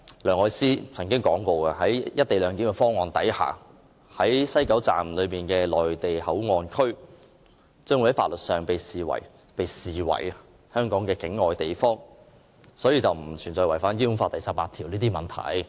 梁愛詩曾經表示，在"一地兩檢"方案之下，西九龍站的內地口岸區將會在法律上被視為香港境外地方，所以並不存在違反《基本法》第十八條的問題。